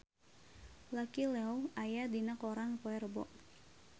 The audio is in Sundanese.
Lucy Liu aya dina koran poe Rebo